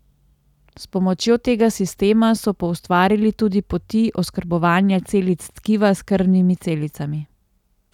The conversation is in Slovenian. S pomočjo tega sistema so poustvarili tudi poti oskrbovanja celic tkiva s krvnimi celicami.